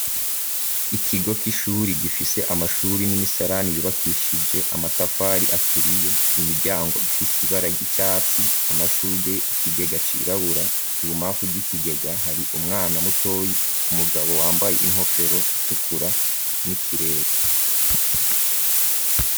Ikigo c'ishuri gifise amashuri n'imisarani yubakishije amatafari aturiye imiryango ifise ibara ry'icatsi amashurwe ikigega cirabura ibumpafu bw'ikigega hari umwana mutoyi umugabo wambaye inkofero itukura n'ikirere.